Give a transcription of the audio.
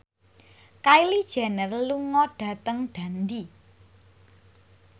Kylie Jenner lunga dhateng Dundee